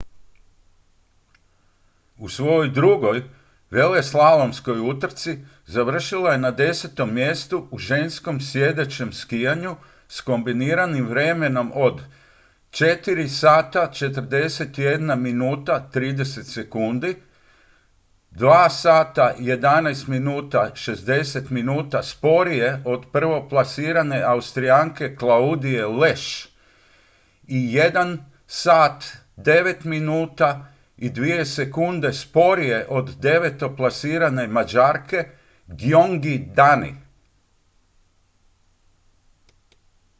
u svojoj drugoj veleslalomskoj utrci završila je na desetom mjestu u ženskom sjedećem skijanju s kombiniranim vremenom od 4:41.30 – 2:11.60 minuta sporije od prvoplasirane austrijanke claudije loesch i 1:09.02 minuta sporije od devetoplasirane mađarke gyöngyi dani